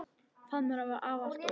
Faðmur afa var alltaf opinn.